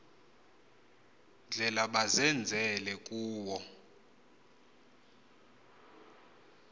ndlela bazenzele kuwo